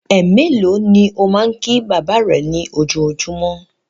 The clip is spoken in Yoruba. Ẹ mélòó ni ó máa ń kí bàbá rẹ ní ojoojúmọ́?